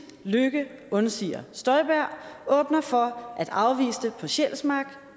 løkke undsiger støjberg åbner for at afviste på sjælsmark